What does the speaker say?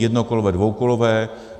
Jednokolové, dvoukolové.